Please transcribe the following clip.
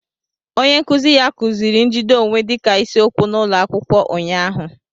Onye nkuzi ya kuziri njide onwe dịka isiokwu n'ụlọ akwụkwọ ụnyahụ